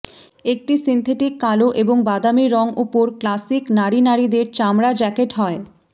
একটি সিন্থেটিক কালো এবং বাদামী রং উপর ক্লাসিক নারী নারীদের চামড়া জ্যাকেট হয়